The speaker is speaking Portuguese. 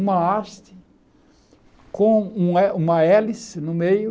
Uma haste com um héli uma hélice no meio,